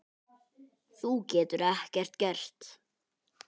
Þú getur ekkert gert.